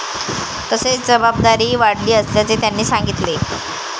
तसेच जबाबदारीही वाढली असल्याचे त्यांनी सांगितले.